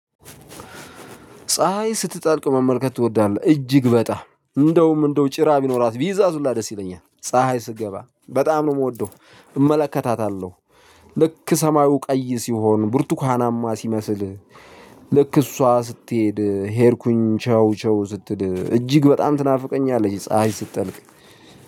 ፀሀይ ስትጠልቅ መመልከት ትወዳለህ? እጅግ በጣም እንደውም እንደው ጭራ ቢኖራት ብይዛት ሁላ ደስ ይለኛል ፀሀይ ስትገባ በጣም ነው የምወደው እመለከታታለሁ። ልክ ሰማዩ ቀይ ሲሆን ብርቱካናማ ሲመስል። ልክ እሷ ስትሄድ ሄድኩኝ ቸው ቸው ስትል እጅግ በጣም ትናፍቀኛለች ፀሀይ ስትጠልቅ።